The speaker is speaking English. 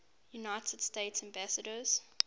united states ambassadors